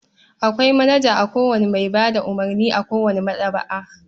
Akwai manaja a kowace mai ba da umurni a kowace maɗaba'a.